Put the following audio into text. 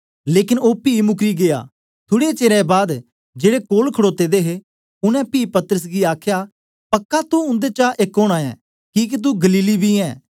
लेकन ओ पी मुकरी गीया थुड़े चेर बाद जेड़े कोल खड़ोते दे हे उनै पी पतरस गी आखया पक्का तुं उन्देचा एक ओना ऐ किके तू गलीली बी ऐं